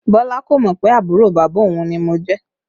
Bọlá kò mọ pé àbúrò bàbá òun ni mo jẹ́